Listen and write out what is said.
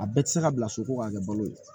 A bɛɛ tɛ se ka bila so ko k'a kɛ balo ye